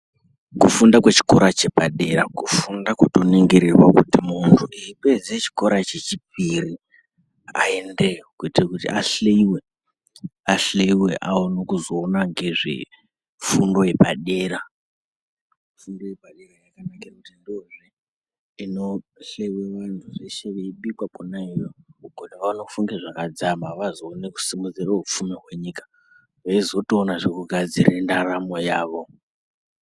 Kufunda kwechikora chepadera kufunda kutoningirorwa kuti muntu eipedze chikora chechipiri aendeyo kuitire kuti ahliiwe ahliiwe aone kuzoona ngezvefundo yepadera fundo yepadera yakanakira kuti ndoinohleiwe vantu zveshe veibikwa kwona iyoyo ukone vazofunge zvakadzama vazoone kusimudzira hupfumi hwenyika veizotoonazve kugadzire ndaramo yavo.